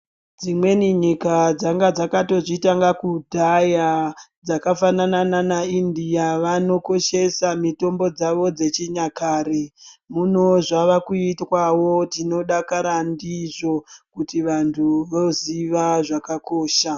Dzimweni nyika dzanga dzakazvitanga kudhaya. Dzakafanana nanaIndia vanokoshesa mitombo dzavo dzechinyakare. Muno zvavakuitwawo tinodakara ndizvo kuti vantu voziva zvakakosha.